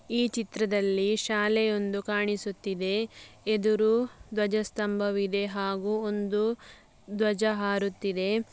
ಈ ಚಿತ್ರದಲ್ಲಿ ಶಾಲೆಯೊಂದು ಕಾಣಿಸುತ್ತಿದೆ ಎದುರು ಧ್ವಜಸ್ಥಂಭವಿದೆ ಹಾಗು ಒಂದು ಧ್ವಜ ಹಾರುತ್ತಿದೆ.